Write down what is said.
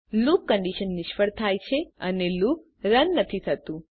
loop condition નિષ્ફળ થાય છે અને લુપ રન નથી થતું